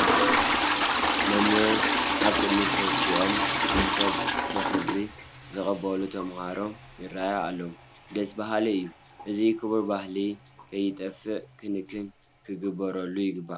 መምህር ኣብ ቅድሚ ተሲኦም ንሰብ ብኽብሪ ዝቕበሉ ተመሃሮ ይርአያ ኣለዋ፡፡ ደስ በሃሊ እዩ፡፡ እዚ ክቡር ባህልና ከይጠፍእ ክንክን ክንገብረሉ ይግባእ፡፡